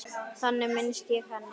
Þannig minnist ég hennar.